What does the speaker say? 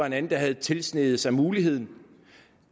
en anden der havde tilsneget sig muligheden